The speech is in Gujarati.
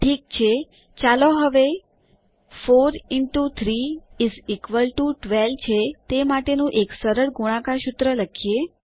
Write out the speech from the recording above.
ઠીક છે ચાલો હવે 4એક્સ3 12 છે તે માટેનું એક સરળ ગુણાકાર સૂત્ર લખીએ